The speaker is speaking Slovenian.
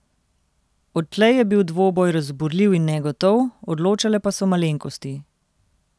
Odtlej je bil dvoboj razburljiv in negotov, odločale pa so malenkosti.